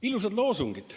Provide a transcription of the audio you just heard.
Ilusad loosungid.